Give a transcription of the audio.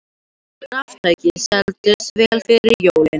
Raftæki seldust vel fyrir jólin